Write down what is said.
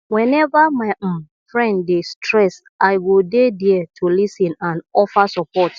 whenever my um friend dey stressed i go dey there to lis ten and offer support